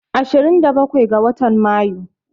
Ashirin da bakwai ga watan Mayu